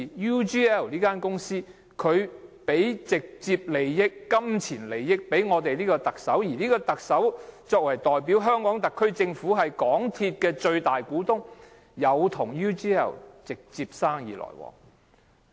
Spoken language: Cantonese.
UGL 給予特首直接金錢利益，而特首代表香港特區政府，即港鐵公司的最大股東，與 UGL 有直接生意來往。